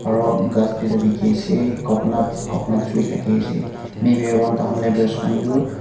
aro ghas duiita dikhiase coconut coconut tree thakiase maybe around takhan labours khan tu--